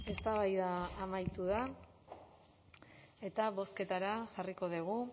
eztabaida amaitu da eta bozketara jarraiko dugu